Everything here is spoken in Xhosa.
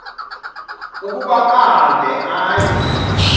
ukuba ahambe aye